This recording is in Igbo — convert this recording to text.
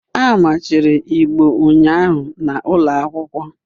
A machiri Igbo ụnyahụ na ụlọ akwụkwọ